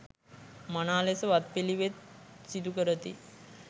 මනා ලෙස වත්පිළිවෙත් සිදුකරති.